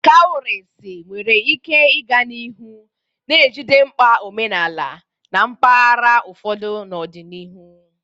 Kawurisi nwere ike ịga n'ihu na-ejide mkpa omenala na mpaghara ụfọdụ n'ọdịnihu.